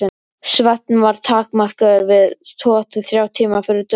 Svefn var takmarkaður við tvo til þrjá tíma fyrir dögun.